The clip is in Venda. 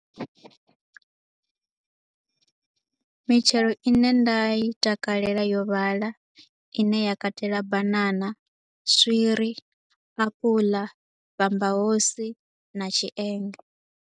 Mitshelo i ne nda i takalela yo vhala, i ne ya katela banana, swiri, apula, bambahosi na tshienge.